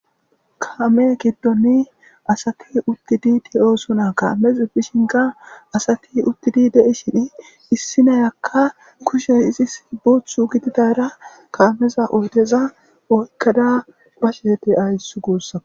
kaame giddonni asati uttidi de'osona kaamez bishinga asati uttidi de7i shini issi nayakka kushe izis boothu gididara kaameza oydeza oykkada bashe ayss guussaka